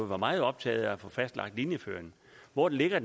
var meget optaget af at få fastlagt linjeføringen hvor ligger